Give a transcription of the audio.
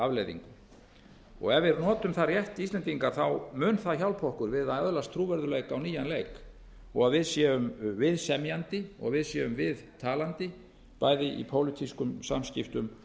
afleiðingum ef við notum það rétt íslendingar mun það hjálpa okkur við að öðlast trúverðugleika á nýjan leik og við séum viðsemjandi og við séum viðtalandi bæði í pólitískum samskiptum